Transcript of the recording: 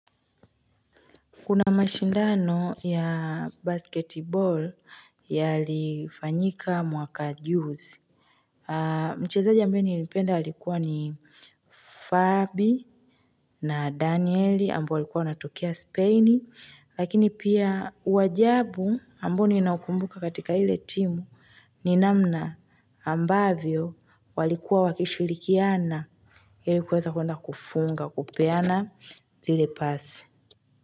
Kuna mashindano ya basketbol yalifanyika mwaka juzi. Mchezaji ambae niilipenda walikuwa ni Fabi na Danieli ambao walikuwa natukea Spain. Lakini pia wajabu ambao ni naukumbuka katika ile timu ni namna ambavyo walikuwa wakishulikiana. Ilikuweza kuenda kufunga, kupeana zile pasi.